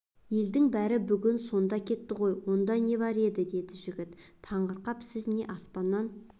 елдің бәрі бүгін сонда кетті ғой онда не бар еді деді жігіт таңырқап сіз не аспаннан